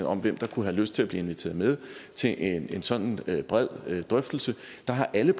om hvem der kunne have lyst til at blive inviteret med til en sådan bred drøftelse har alle